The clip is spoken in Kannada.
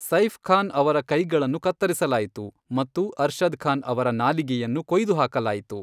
ಸೈಫ್ ಖಾನ್ ಅವರ ಕೈಗಳನ್ನು ಕತ್ತರಿಸಲಾಯಿತು ಮತ್ತು ಅರ್ಷದ್ ಖಾನ್ ಅವರ ನಾಲಿಗೆಯನ್ನು ಕೊಯ್ದುಹಾಕಲಾಯಿತು.